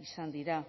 izan dira